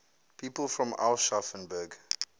people from aschaffenburg